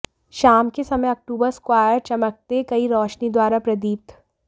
शाम के समय अक्टूबर स्क्वायर चमकते कई रोशनी द्वारा प्रदीप्त